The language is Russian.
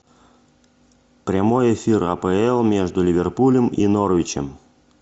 прямой эфир апл между ливерпулем и норвичем